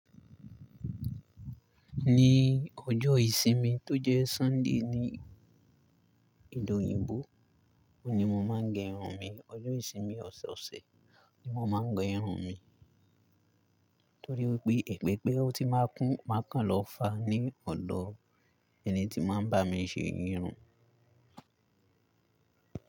Ni ọjọ́ ìsinmi tó jẹ́ Sunday ní ede òyìnbó, òun ni mo máa ń gẹ irun mi. Ọjọ́ ìsinmi ọ̀sọ̀ọ̀sẹ̀ ni mo máa ń gẹ irun mi. Torí wípé, èpè pé ó ti máa kún máa kan lọ fàá ní ọ̀dọ ẹni tí máa ń bá mi ṣe irun.